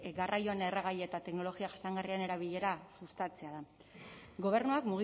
garraioan erregai eta teknologia jasangarrien erabilera sustatzea da gobernuak